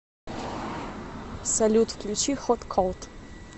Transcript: салют включи хот колд